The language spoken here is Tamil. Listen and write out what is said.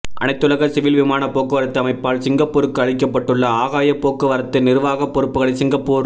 அனைத்துலக சிவில் விமானப் போக்குவரத்து அமைப்பால் சிங்கப்பூருக்கு அளிக்கப்பட்டுள்ள ஆகாயப் போக்கு வரத்து நிர்வாகப் பொறுப்புகளை சிங்கப்பூர்